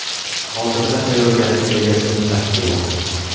Hozirda tayyorgarlik rejasini ishlab chiqilmoqda.